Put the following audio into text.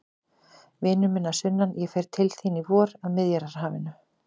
Vinur minn að sunnan, ég fer til þín í vor, að Miðjarðarhafinu.